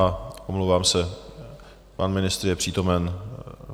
A omlouvám se, pan ministr je přítomný.